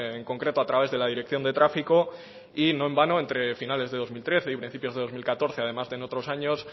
en concreto a través de la dirección de tráfico y no en vano entre finales de dos mil trece y principios de dos mil catorce además de otros años